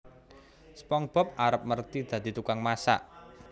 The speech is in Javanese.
SpongeBob arep merthi dadi tukang masak